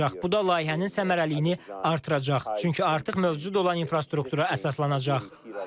Bu da layihənin səmərəliliyini artıracaq, çünki artıq mövcud olan infrastruktura əsaslanacaq.